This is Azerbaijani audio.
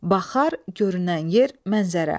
Baxar, görünən yer, mənzərə.